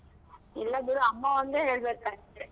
ಇಲ್ಲ ಬಿಡು ಅಮ್ಮ ಒಂದೆ ಹೇಳ್ಬೇಕಷ್ಟೆ.